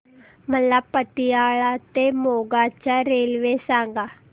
मला पतियाळा ते मोगा च्या रेल्वे सांगा